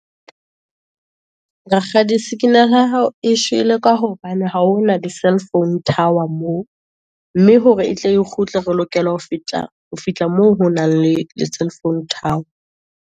Rakgadi signal ya hao e shwele, ka hobane ha hona di cellphone tower moo, mme hore etle e kgutle, re lokela ho fihla moo, ho nang le cellphone tower.